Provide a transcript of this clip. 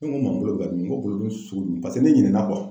Ne ko ma bolo bɛ ka dimi n ko kolodimi sugu paseke ne ɲinɛna